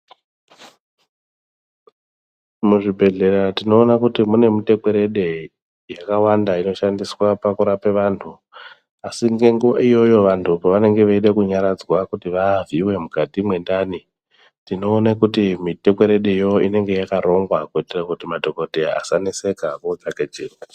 Muzvibhehleya tinoona kuti mune mutekwerede yakawanda inoshandiswa pakurape vantu. Asi ngenguva iyoyo vantu pavanenge veide kunyaradzwa kuti vavhiiwe mukati mwendani, tinoone kuti mitekwerede iyoyo inenge yakarongwa kuitira kuti madhokoteya asaneseka vootsvake chiro.